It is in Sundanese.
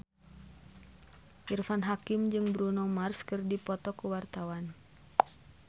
Irfan Hakim jeung Bruno Mars keur dipoto ku wartawan